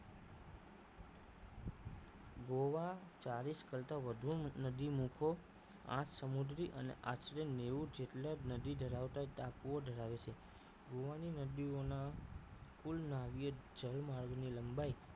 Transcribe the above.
ગોવા ચાલીસ કરતા વધુ નદી મૂખો આઠ સમુદ્રી અને આશરે નેવું જેટલા નદી ધરાવતા ટાપુઓ ધરાવે છે ગોવા ની નદીઓ ના કુલ નાવિય જલમર્ગો ની લંબાઈ